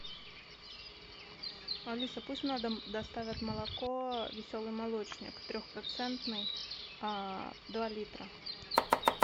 алиса пусть на дом доставят молоко веселый молочник трехпроцентный два литра